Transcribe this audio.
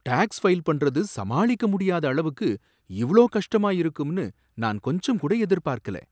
Tax file பண்றது சமாளிக்க முடியாத அளவுக்கு இவ்ளோ கஷ்டமா இருக்கும்னு நான் கொஞ்சம்கூட எதிர்பார்க்கல.